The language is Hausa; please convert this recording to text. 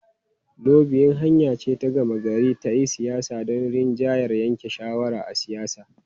Lobiyin hanya ce ta gama gari ta siyasa don rinjayar yanke shawara na siyasa.